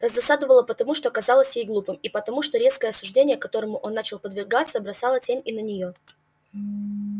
раздосадовало потому что казалось ей глупым и потому что резкое осуждение которому он начал подвергаться бросало тень и на неё